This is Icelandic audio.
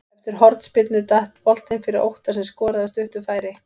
Eftir hornspyrnu datt boltinn fyrir Óttar sem skoraði af stuttu færi.